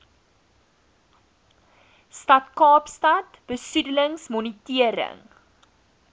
stad kaapstad besoedelingsmonitering